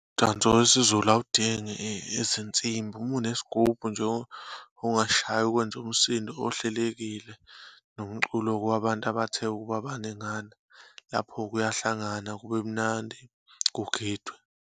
Umdanso wesiZulu awudingi izinsimbi. Uma unesigubhu nje ongashaya kwenza umsindo ohlelekile, nomculo-ke wabantu abathe ukuba baningana. Lapho kuyahlanganwa kube mnandi, kugidwe.